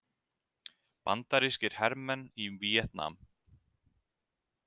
Bandarískir hermenn í Víetnam.